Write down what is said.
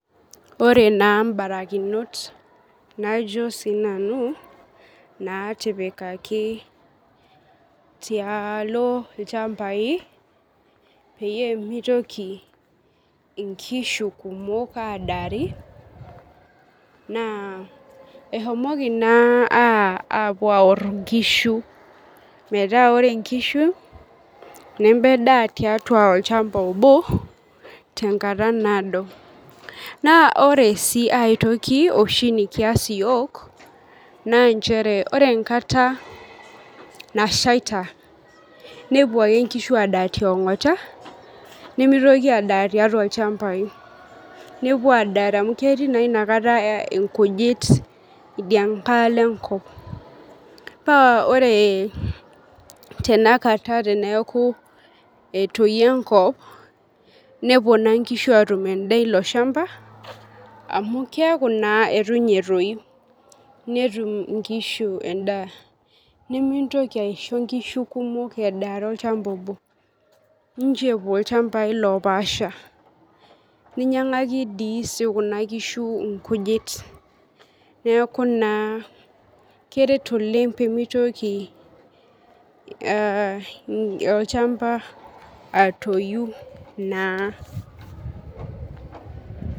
Ore naa mbarakinot najo sinanu natipikaki tialo ilchambai peyie mitoki inkishu kumok adaari naa ehomoki naa apuo aor inkishu metaa ore inkishu nemedaa tiatua olchamba obo tenkata naado .Naa ore sii aetoki oshi nikias iyiok naa nchere ore enkata nashaita nepuo ake nkishu adaa tiongota nimitoki adaa tiatua ilchambai , nepuo adari amu ketii naa inakata inkujit idia nkae shoto enkop ,kaa ore tenakata teneaku etoyio enkop nepuo naa nkishu atum endaa iloshamba amu keaku naa itu ninye etoyu , netum inkishu endaa, nimintoki aisho nkishu kumok edaare olchamba obo, nchoo epuo ilchambai lopaasha ,ninyiangaki sidii kuna kishu nkujit neeku naa keret oleng pemitoki aa olchamba atoyu naa.